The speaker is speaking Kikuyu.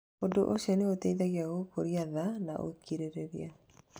Ũndũ ũcio nĩ ũteithagia gũkũria tha na ũkirĩrĩria.